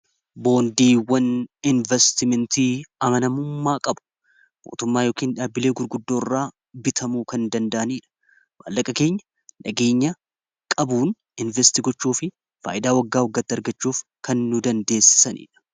Boondiiwwan investimentii amanamummaa qabu mootummaa yookiin dhaabilee gurguddoo irraa bitamuu kan danda'aniidha waallaqa keenya dhageenya qabuun investigochuu fi faayidaa waggaa waggatti argachuuf kannu dandeesssaniidha.